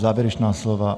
Závěrečná slova?